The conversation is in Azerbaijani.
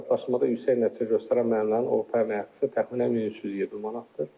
Sertifikatlaşdırmada yüksək nəticə göstərən müəllimlərin orta əmək haqqısı təxminən 1370 manatdır.